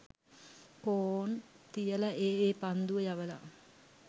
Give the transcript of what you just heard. කෝන් තියල ඒ ඒ පන්දුව යවල